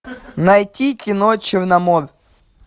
найти кино черномор